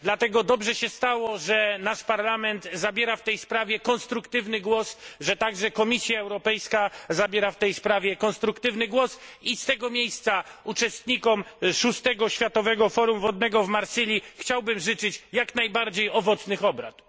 Dlatego dobrze się stało, że nasz Parlament zabiera w tej sprawie konstruktywny głos, że także Komisja Europejska zabiera w tej sprawie konstruktywny głos i z tego miejsca uczestnikom VI Światowego Forum Wodnego w Marsylii chciałbym życzyć jak najbardziej owocnych obrad.